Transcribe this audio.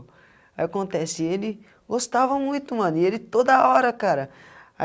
Aí, acontece, ele gostava muito, mano, ele toda hora, cara.